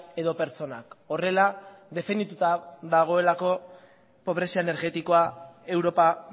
edo pertsonak horrela definituta dagoelako pobrezia energetikoa europa